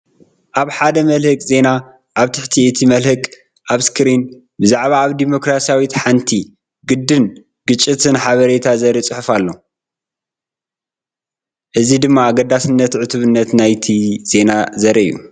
ኣብ ሓደ መልህቕ ዜና ኣብ ትሕቲ እቲ መልህቕ፡ ኣብ ስክሪን፡ ብዛዕባ ኣብ ዲሞክራስያዊት ሓንቲ ዓድን ግጭትን ሓበሬታ ዘርኢ ጽሑፍ ኣሎ። እዚ ድማ ኣገዳስነትን ዕቱብነትን ናይቲ ዜና ዘርኢ እዩ።